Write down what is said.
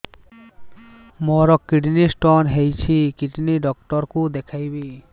ମୋର kidney stone ହେଇଛି kidney doctor କୁ ଦେଖାଇବି